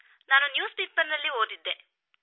ನಾನು ದಿನ ಪತ್ರಿಕೆಯಲ್ಲಿ ಓದಿದ್ದೆ